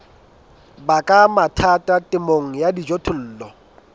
baka mathata temong ya dijothollo